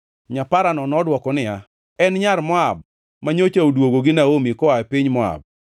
Nyaparano nodwoko niya, “En nyar Moab manyocha odwogo gi Naomi koa e piny Moab.